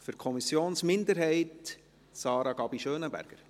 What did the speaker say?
Für die Kommissionsminderheit, Sarah Gabi Schönenberger.